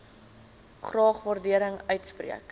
graag waardering uitspreek